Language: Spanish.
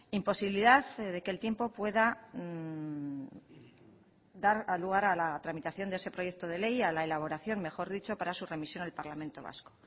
imposibilidad de que el tiempo pueda dar lugar a la tramitación de ese proyecto de ley a la elaboración mejor dicho para su remisión al parlamento vasco